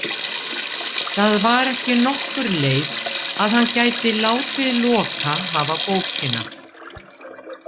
Það var ekki nokkur leið að hann gæti látið Loka hafa bókina.